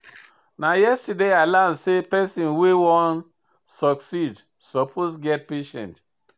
Na yesterday I learn sey pesin wey wan succeed suppose get patience.